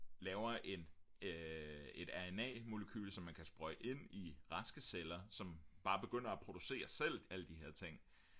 laver et rna molekyle som man kan sprøjte ind i raske celler som bare begynder at producere selv alle de her ting